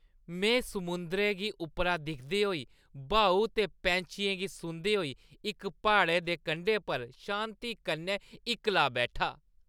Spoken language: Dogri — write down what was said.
में समुंदरै गी उप्परा दिखदे होई ब्हाऊ ते पैंछियें गी सुनदे होई इक प्हाड़ै दे कंढे पर शांति कन्नै इक्कला बैठा।